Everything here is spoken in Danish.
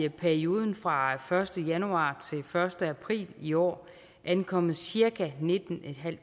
i perioden fra første januar til første april i år ankommet cirka nittentusinde